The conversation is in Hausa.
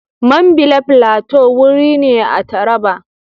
Mambila Plateau wuri ne a Taraba.